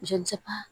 Joli ja